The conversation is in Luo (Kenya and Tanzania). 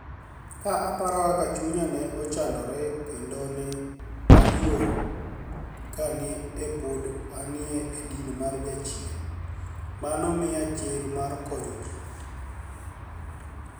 Ka aparo kaka chuniya ni e chanidore kenido ni e aluor kani e pod ani e dini mar jachieni, mano miya chir mar koniyo ji.